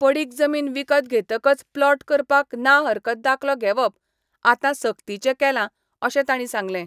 पडीक जमीन विकत घेतकच प्लॉट करपाक ना हरकत दाखलो घेवप आतां सक्तीचें केला अशें तांणी सांगलें.